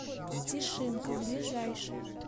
тишинка ближайший